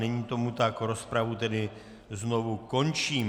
Není tomu tak, rozpravu tedy znovu končím.